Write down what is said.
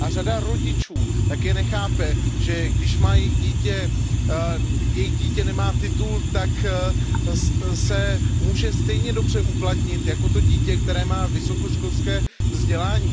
Řada rodičů také nechápe, že když nemá jejich dítě titul, tak se může stejně dobře uplatnit jako to dítě, které má vysokoškolské vzdělání.